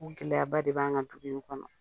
O gɛlɛyaba de b'an kan ka dugu in kɔnɔ